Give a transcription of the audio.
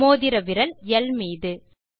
மோதிர விரல் அல்பாபெட் ல்